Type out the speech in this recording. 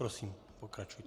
Prosím, pokračujte.